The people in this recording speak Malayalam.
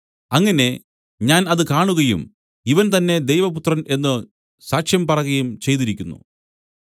അങ്ങനെ ഞാൻ അത് കാണുകയും ഇവൻ തന്നേ ദൈവപുത്രൻ എന്നു സാക്ഷ്യം പറകയും ചെയ്തിരിക്കുന്നു